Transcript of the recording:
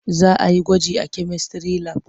Za a yi gwaji a kemistry lab.